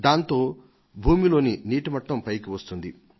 దాంతో భూమి లోని నీటిమట్టం పైకి వస్తుంది